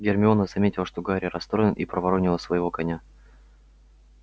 гермиона заметила что гарри расстроен и проворонила своего коня